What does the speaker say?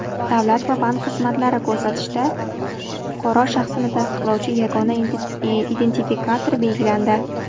Davlat va bank xizmatlari ko‘rsatishda fuqaro shaxsini tasdiqlovchi yagona identifikator belgilandi.